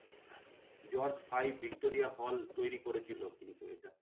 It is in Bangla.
জর্জ ফাই ভিক্টোরিয়া হল্ট তৈরী করেছিল কিন্তু এটা।